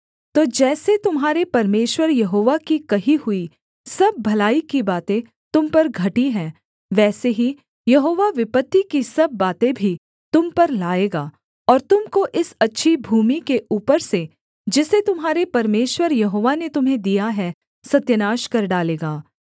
तो जैसे तुम्हारे परमेश्वर यहोवा की कही हुई सब भलाई की बातें तुम पर घटी हैं वैसे ही यहोवा विपत्ति की सब बातें भी तुम पर लाएगा और तुम को इस अच्छी भूमि के ऊपर से जिसे तुम्हारे परमेश्वर यहोवा ने तुम्हें दिया है सत्यानाश कर डालेगा